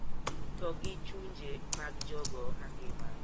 To gi chunje mag jogo mangima.